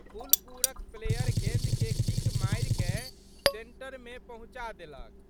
फुलपुरक प्लेयर गेंदके किक मारिकए सेंटरमे पहुँचा देलक।